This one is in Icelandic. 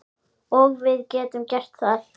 Og við getum það.